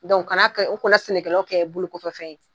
Dɔnku kana kɛ, u kana sɛnɛkɛlaw kɛ bolokokɔfɛ fɛn ye.